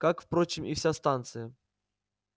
как впрочем и вся станция